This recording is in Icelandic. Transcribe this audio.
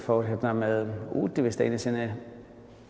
fór hérna með Útivist einu sinni